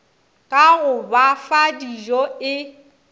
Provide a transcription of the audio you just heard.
ka go ba fadijo e